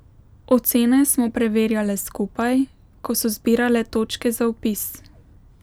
Ocene smo preverjale skupaj, ko so zbirale točke za vpis.